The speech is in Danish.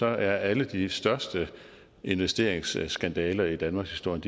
er alle de største investeringsskandaler i danmarkshistorien